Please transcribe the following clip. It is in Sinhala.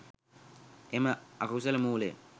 එම අකුසල මූලය